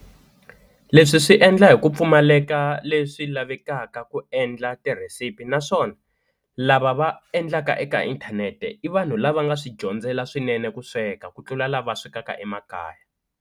Leswi swi endla hi ku pfumaleka leswi lavekaka ku endla tirhesiphi naswona lava va endlaka eka inthanete i vanhu lava nga swi dyondzela swinene ku sweka ku tlula lava swekaka emakaya.